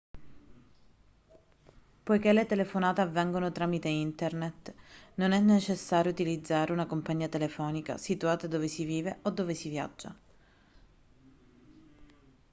poiché le telefonate avvengono tramite internet non è necessario utilizzare una compagnia telefonica situata dove si vive o si viaggia